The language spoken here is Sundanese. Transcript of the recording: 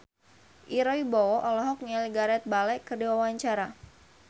Ira Wibowo olohok ningali Gareth Bale keur diwawancara